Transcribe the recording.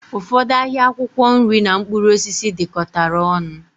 Ụfọdụ ahịa akwụkwọ nri na mkpụrụ osisi dikọtara ọnụ